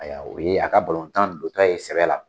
Aya o ye a ka balontan don tɔ ye sɛbɛ la